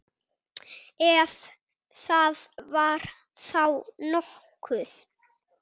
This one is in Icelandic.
Ef það var þá nokkuð.